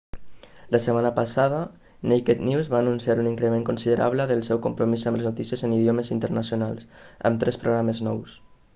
la setmana passada naked news va anunciar un increment considerable del seu compromís amb les notícies en idiomes internacionals amb tres programes nous